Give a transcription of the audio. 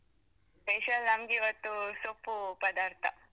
Special ನಂಗಿವತ್ತು ಸೊಪ್ಪು ಪದಾರ್ಥ.